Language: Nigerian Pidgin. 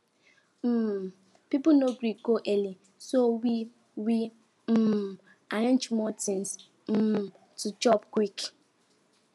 um people no gree go early so we we um arrange more things um to chop quick